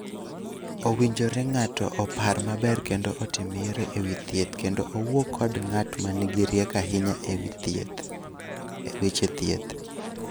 Owinjore ng�ato opar maber kendo otim yiero e wi thieth kendo owuo kod ng�at ma nigi rieko ahinya e weche thieth.